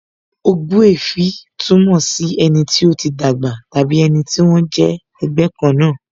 Ogbuefi túmọ̀ sí ẹni tí ó ti dàgbà tàbí ẹni tí wón jẹ́ ẹgbẹ́ kan náà